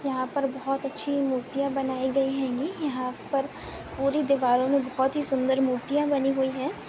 यहाँ पर बहुत अच्छी मूर्तियां बनाई गई होगी यहाँ पर पूरी दिवारो मे सुंदर मूर्तियां बनी हुई है।